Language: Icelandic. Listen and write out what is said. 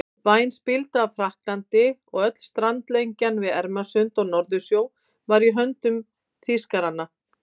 Væn spilda af Frakklandi og öll strandlengjan við Ermarsund og Norðursjó var í höndum Þýskaranna.